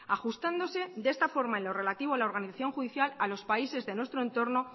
ajustándose de esta forma en lo relativo a la organización judicial a los países de nuestro entorno